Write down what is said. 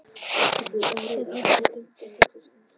Er hægt að byggja á þessari skýrslu?